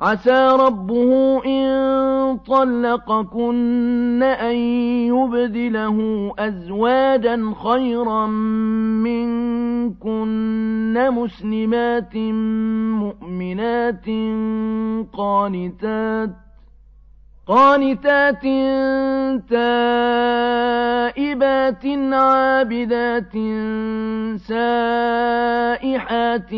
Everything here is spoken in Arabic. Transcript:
عَسَىٰ رَبُّهُ إِن طَلَّقَكُنَّ أَن يُبْدِلَهُ أَزْوَاجًا خَيْرًا مِّنكُنَّ مُسْلِمَاتٍ مُّؤْمِنَاتٍ قَانِتَاتٍ تَائِبَاتٍ عَابِدَاتٍ سَائِحَاتٍ